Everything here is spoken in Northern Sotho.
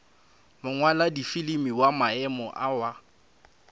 mongwaladifilimi wa maemo a wa